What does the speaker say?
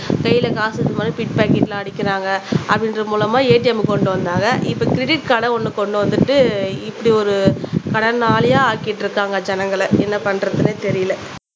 கையில காசு இருக்கும் போது பிட் பாக்கெட்ல அடிக்கிறாங்க அப்படின்ற மூலமா ATM கொண்டு வந்தாங்க இப்ப கிரெடிட் கார்ட ஒண்ணு கொண்டு வந்துட்டு இப்படி ஒரு கடனாளியா ஆக்கிட்டு இருக்காங்க ஜனங்களை என்ன பண்றதுன்னே தெரியலே